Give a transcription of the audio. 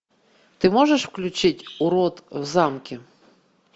ты можешь включить урод в замке